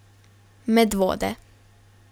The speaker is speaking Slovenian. Medvode.